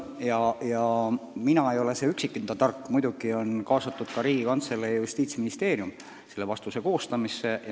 Aga mina ei ole üksinda see tark, muidugi on vastuse koostamisse kaasatud ka Riigikantselei ja Justiitsministeerium.